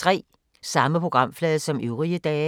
Samme programflade som øvrige dage